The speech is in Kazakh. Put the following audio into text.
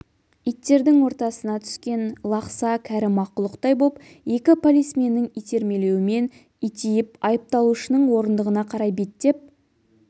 иттердің ортасына түскен лақса кәрі мақұлықтай боп екі полисменнің итермелеуімен итиіп айыпталушының орындығына қарай беттеп